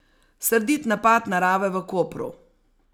Srdit napad narave v Kopru.